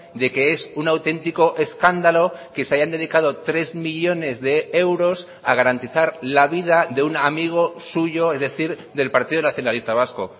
de que es un auténtico escándalo que se hayan dedicado tres millónes de euros a garantizar la vida de un amigo suyo es decir del partido nacionalista vasco